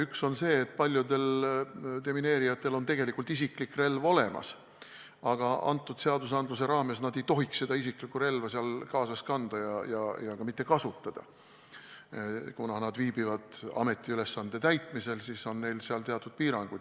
Üks on see, et paljudel demineerijatel on tegelikult isiklik relv olemas, aga seaduse järgi nad ei tohiks isiklikku relva seal kaasas kanda ega ka mitte kasutada – kuna nad viibivad seal ametiülesande täitmisel, siis on neil teatud piirangud.